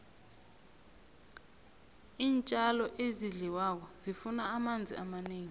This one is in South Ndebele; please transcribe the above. iintjalo ezidliwako zifuna amanzi amanengi